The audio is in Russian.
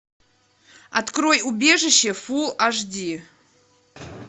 открой убежище фул аш ди